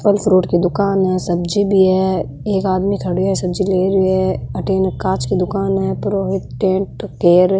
फल फ्रूट की दुकान है सब्जी भी है एक आदमी खड़ा हो सब्जी ले रह्यो है अठिन कांच की दुकान है परोहित टेंट केयर ।